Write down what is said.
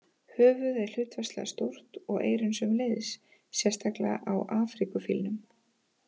Höfuðið er hlutfallslega stórt og eyrun sömuleiðis, sérstaklega á Afríkufílnum.